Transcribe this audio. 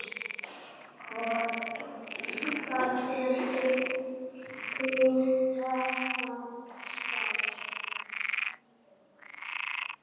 Hvað voru þeir að spá?